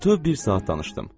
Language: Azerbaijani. Bütöv bir saat danışdım.